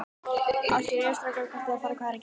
Ásgeir: Jæja, strákar, hvað eruð þið að fara að gera?